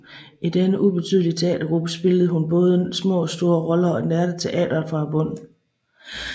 I denne ubetydelige teatergruppe spillede hun både små og store roller og lærte teatret fra bunden